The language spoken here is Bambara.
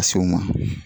Ka se o ma